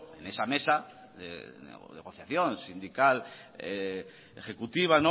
esa mesa de negociación sindical ejecutiva